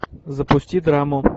запусти драму